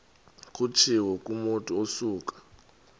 kutshiwo kumotu osuke